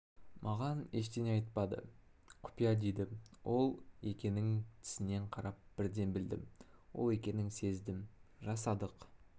маған ештеңе айтпады құпия дейді ол екенін тісінен қарап бірден білдім ол екенін сездім жасадық